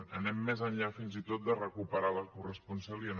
anem més enllà fins i tot de recuperar la corresponsalia